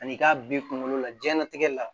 Ani k'a bi kunkolo la diɲɛɲɛnatigɛ la